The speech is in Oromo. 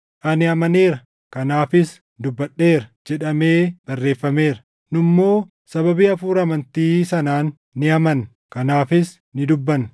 “Ani amaneera; kanaafis dubbadheera” + 4:13 \+xt Far 116:10\+xt* jedhamee barreeffameera. Nu immoo sababii hafuura amantii sanaan ni amanna; kanaafis ni dubbanna;